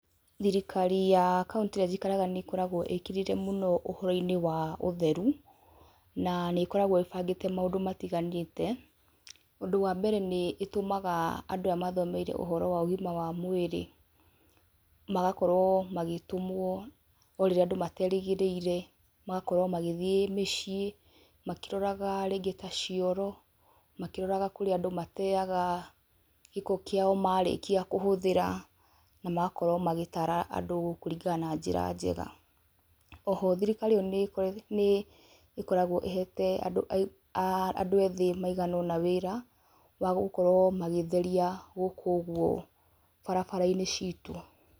Thirikari ya kauntĩ ĩrĩa njikaraga nĩ ĩkoragwo ĩkĩrĩire mũno ũhoro-inĩ wa ũtheru, na nĩ ĩkoragwo ĩbangĩte maũndũ matiganĩte, ũndũ wa mbere nĩ ĩtũmaga andũ aya mathomeire ũhoro wa ũgima wa mwĩrĩ, magakorwo magĩtũmwo o rĩrĩa andũ materĩgĩrĩire, magakorwo magithiĩ mĩciĩ, makĩroraga rĩngĩ ta cioro, makĩroraga kũrĩa andũ mateyaga gĩko kĩao marĩkia kũhũthĩra, na magakorwo magĩtara andũ kũringana na njĩra njega, oho thirikari ĩyo nĩ ĩkoragwo ĩhete andũ a aa andũ ethĩ maigana ũna wĩra wagũkorwo magĩtheria gũkũ ũguo barabara-inĩ citũ.